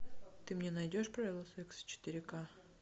ты мне найдешь правила секса четыре ка